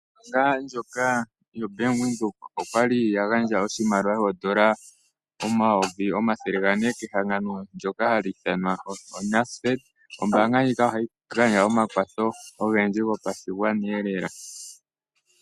Ombaanga ndjoka yoBank Windhoek oya gandja oshimaliwa shooN$ 400 000 kehangano ndyoka lyoNASFED. Ombaanga ndjika ohayi gandja omakwatho ogendji gopashimaliwa lela.